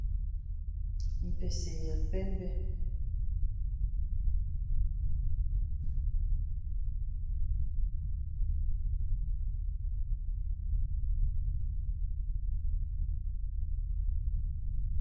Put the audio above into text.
Mpese ya pembe, mpese ya pembe.